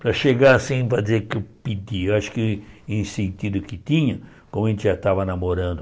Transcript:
Para chegar assim para dizer que eu pedi, acho que em sentido que tinha, como a gente já estava namorando,